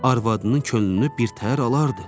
Arvadının könlünü birtəhər alardı.